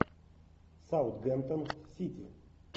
саутгемптон сити